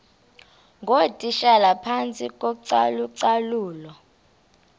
ngootitshala phantsi kocalucalulo